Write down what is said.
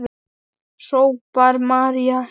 hrópar María æf.